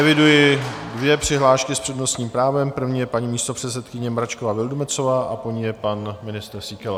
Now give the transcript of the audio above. Eviduji dvě přihlášky s přednostním právem, první je paní místopředsedkyně Mračková Vildumetzová a po ní je pan ministr Síkela.